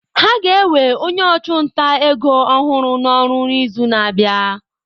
Ha ga-ewe onye ọchụnta ego ọhụrụ n'ọrụ n'izu na-abịa.